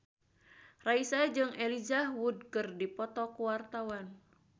Raisa jeung Elijah Wood keur dipoto ku wartawan